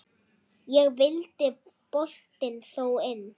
Ekki vildi boltinn þó inn.